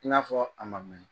I n'a fɔ a ma mɛn